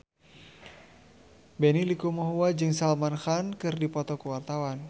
Benny Likumahua jeung Salman Khan keur dipoto ku wartawan